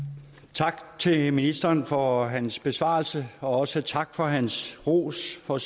tak til ministeren for hans besvarelse og også tak for hans ros for